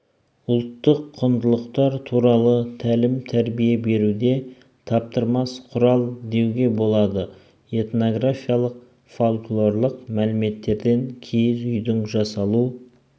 ұлттық құндылықтар туралы тәлім-тәрбие беруде таптырмас құрал деуге болады энтографиялық фольклорлық мәліметтерден киіз үйдің жасалу